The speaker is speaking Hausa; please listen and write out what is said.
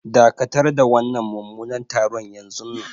Dakatar da wannan mummunan taron yanzunnan.